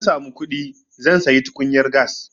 In na samu kuɗi zan sayi tukunyar gas.